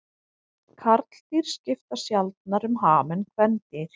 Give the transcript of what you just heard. Karldýr skipta sjaldnar um ham en kvendýr.